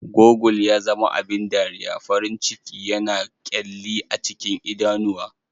Gurgle ya zama abin dariya, farin ciki yana kyalli a cikin idanuwa